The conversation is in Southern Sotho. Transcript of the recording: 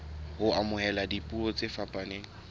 ho amohela dipuo tse fapaneng